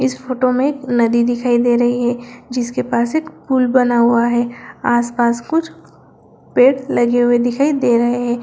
इस फोटो में नदी दिखाई दे रही है जिसके पास एक पुल बना हुआ है आस-पास कुछ पेड़ लगे हुए दिखाई दे रहे है।